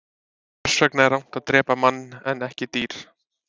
hvers vegna er rangt að drepa mann en ekki dýr